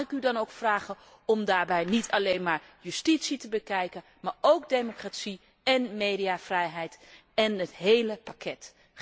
Maar mag ik u dan ook vragen om daarbij niet alleen justitie te bekijken, maar ook democratie en mediavrijheid en het hele pakket?